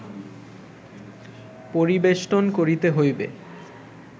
পরিবেষ্টন করিতে হইবে